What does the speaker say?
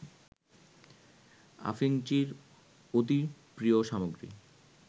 আফিংচির অতি প্রিয় সামগ্রী